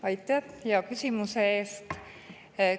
Aitäh hea küsimuse eest!